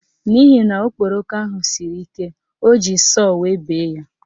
N'ihi na okporoko ahụ siri ike, o ji sọọ wee bee ya.